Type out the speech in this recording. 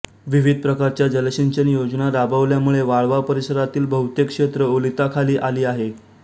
विविध प्रकारच्या जलसिंचन योजना राबवल्या मुळे वाळवा परिसरातील बहुतेक क्षेत्र ओलिताखाली आली आहे